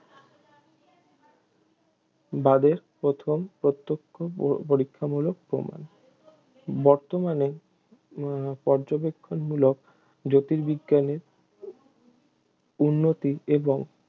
বাদের প্রথম প্রত্যক্ষ প~ পরীক্ষামূলক প্রমাণ বর্তমানে পর্যবেক্ষণমূলক জ্যোতির্বিজ্ঞানের উন্নতি এবং